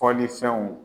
Fɔlifɛnw